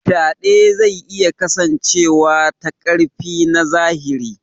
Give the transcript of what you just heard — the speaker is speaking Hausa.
Faɗe zai iya kasancewa ta ƙarfi na zahiri.